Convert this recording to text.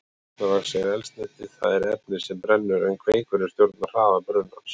Kertavaxið er eldsneytið, það er efnið sem brennur, en kveikurinn stjórnar hraða brunans.